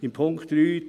» Punkt 3: